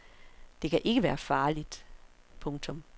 Det kan ikke være farligt. punktum